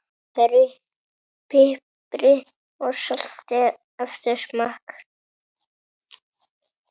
Piprið og saltið eftir smekk.